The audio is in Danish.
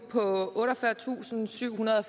på otteogfyrretusinde og syvhundrede og